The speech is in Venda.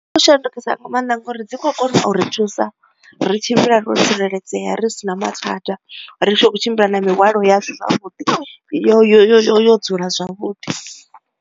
U shandukisa nga maanḓa ngori dzi khou kona u ri thusa ri tshimbila ro tsireledzea ri si na mathada ri tshi khou tshimbila na mihwalo yashu zwavhuḓi yo yo yo dzula zwavhuḓi.